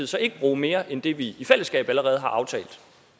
så ikke bruge mere end det vi i fællesskab allerede har aftalt